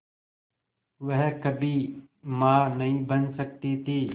वह कभी मां नहीं बन सकती थी